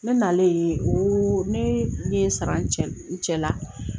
Ne nalen ne ye n sara n cɛ la